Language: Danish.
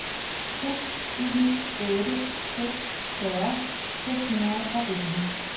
seks en otte seks fyrre seks hundrede og elleve